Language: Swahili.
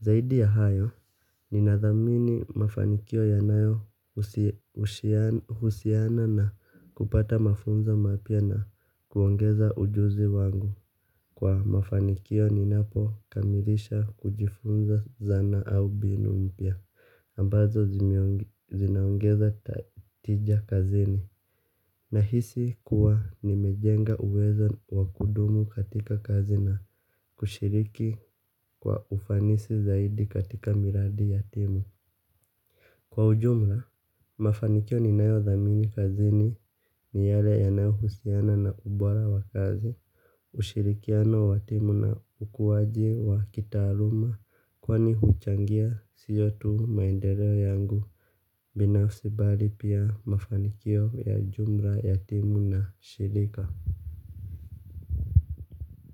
Zaidi ya hayo, ninathamini mafanikio yanayo husiana na kupata mafunzo mapya na kuongeza ujuzi wangu. Kwa mafanikio ninapokamilisha kujifunza zana au mbinu mpya, ambazo zinaongeza tija kazini. Nahisi kuwa nimejenga uweza wa kudumu katika kazi na kushiriki kwa ufanisi zaidi katika miradi ya timu. Kwa ujumla, mafanikio ninayothamini kazi ni ni yale yanayohusiana na ubora wa kazi. Ushirikiano wa timu na ukuaji wa kitaaluma kwani huchangia sio tu maendeleo yangu binafisi bali pia mafanikio ya jumla ya timu na shirika.